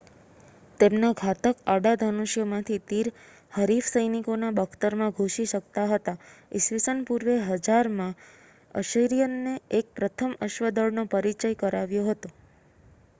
તેમના ઘાતક આડા ધનુષ્યોમાંથી તીર હરીફ સૈનિકોના બખ્તરમાં ઘૂસી શકતા હતા ઈસવીસન પૂર્વે 1000માં અશિરીયનો એ પ્રથમ અશ્વદળનો પરિચય કરાવ્યો હતો